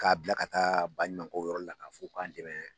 K'a bila ka taa baɲumankow yɔrɔli la k'a fɔ o k'an dɛmɛ